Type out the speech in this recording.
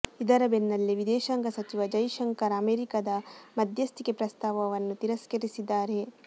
ಇದರ ಬೆನ್ನಲ್ಲೇ ವಿದೇಶಾಂಗ ಸಚಿವ ಜೈಶಂಕರ್ ಅಮೆರಿಕದ ಮಧ್ಯಸ್ಥಿಕೆ ಪ್ರಸ್ತಾವವನ್ನು ತಿರಸ್ಕರಿಸಿದ್ದಾರೆ